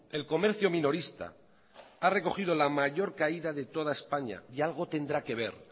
el comercio minorista ha recogido la mayor caída de toda españa y algo tendrá que ver